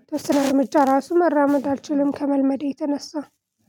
የተወሰኑ እርምጃ ራሱ መራመድ አልችልም ከመልመዴ የተነሳ።